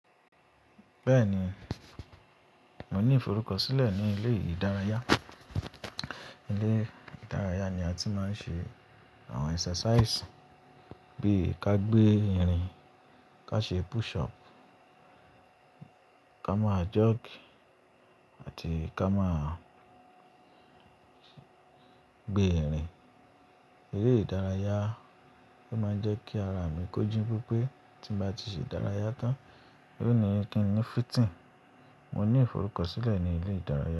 Bẹ́ẹ̀ni, mo ní ìforúkọ sílẹ̀ ní ilé ìdárayá. Ilé ìdárayá ni a ti máa ń ṣe àwọn exercise bí ká gbé irin, ká ṣe push up, ká máa jog àti ká máa gbé irin. Ilé ìdárayá máa ń jẹ́ kí ara mi kóji pẹpẹ Tí mo bá ti ṣe ìdárayá tán, yio ni kí n ní fitting Mo ní ìforúkọ sílẹ̀ ní ilé ìdárayá.